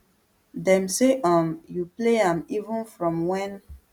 dem say um you play am even from wen